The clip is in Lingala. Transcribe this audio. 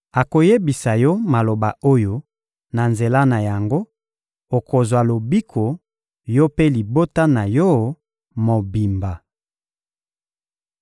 Akoyebisa yo maloba oyo, na nzela na yango, okozwa lobiko, yo mpe libota na yo mobimba!»